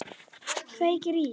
Kveikir í.